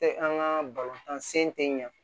Tɛ an ka balontan sen tɛ ɲɛ